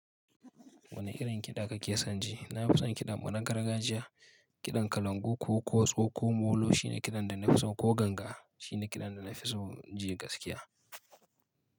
Wane irin kiɗa kake son ji? Na fi son kiɗan mu na gargajiya, kiɗan kalangu ko ƙotso ko molo shine kiɗan da na fi so, ko ganga shine kiɗan da na fi so ji gaskiya.